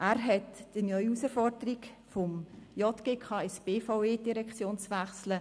Er hat die neue Herausforderung angenommen, von der JGK- zur BVE-Direktion zu wechseln.